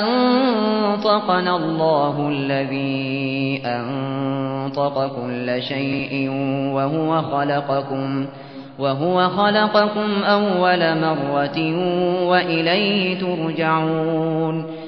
أَنطَقَنَا اللَّهُ الَّذِي أَنطَقَ كُلَّ شَيْءٍ وَهُوَ خَلَقَكُمْ أَوَّلَ مَرَّةٍ وَإِلَيْهِ تُرْجَعُونَ